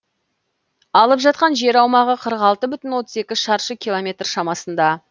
алып жатқан жер аумағы қырық алты бүтін отыз екі шаршы километр шамасында